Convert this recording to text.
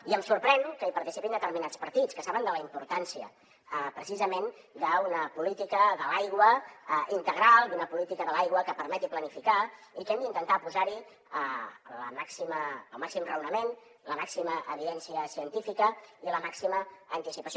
i em sorprèn que hi participin determinats partits que saben de la importància precisament d’una política de l’aigua integral d’una política de l’aigua que permeti planificar i que hem d’intentar posar hi el màxim raonament la màxima evidència científica i la màxima anticipació